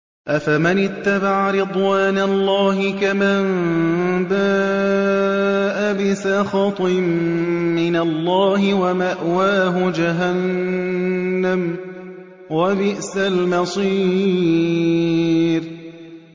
أَفَمَنِ اتَّبَعَ رِضْوَانَ اللَّهِ كَمَن بَاءَ بِسَخَطٍ مِّنَ اللَّهِ وَمَأْوَاهُ جَهَنَّمُ ۚ وَبِئْسَ الْمَصِيرُ